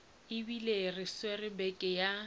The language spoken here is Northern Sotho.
ebile re swere beke ya